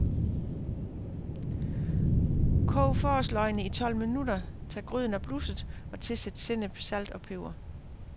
Kog forårsløgene i tolv minutter, tag gryden af blusset og tilsæt sennep, salt og peber.